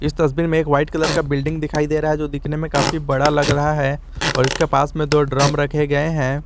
तस्वीर में एक वाइट कलर का बिल्डिंग दिखाई दे रहा है जो दिखने में काफी बड़ा लग रहा है और उसके पास में दो ड्रम रखे गए हैं।